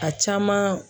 A caman